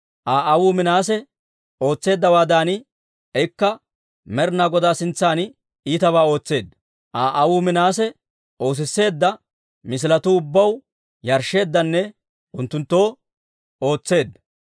Aa aawuu Minaase ootseeddawaadan, ikka Med'inaa Godaa sintsan iitabaa ootseedda. Aa aawuu Minaase oosisseedda misiletuu ubbaw yarshsheeddanne unttunttoo ootseedda.